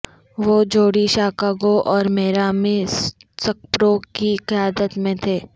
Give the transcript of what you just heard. وہ Judy Chicago اور میرامی سکپرو کی قیادت میں تھے